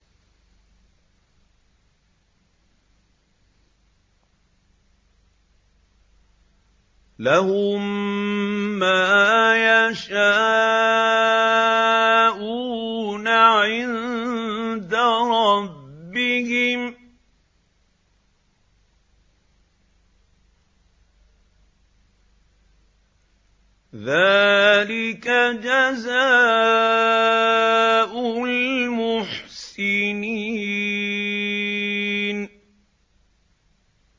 لَهُم مَّا يَشَاءُونَ عِندَ رَبِّهِمْ ۚ ذَٰلِكَ جَزَاءُ الْمُحْسِنِينَ